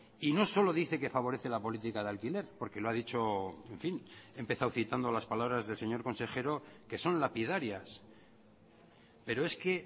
y no solo dice que favorece la política de alquiler porque lo ha dicho en fin he empezado citando las palabras del señor consejero que son lapidarias pero es que